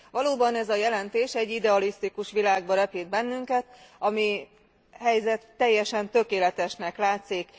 Valóban ez a jelentés egy idealisztikus világba repít bennünket, amely helyzet teljesen tökéletesnek látszik.